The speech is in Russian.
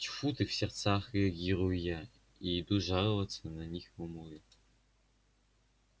тьфу ты в сердцах реагирую я и иду жаловаться на них мамульке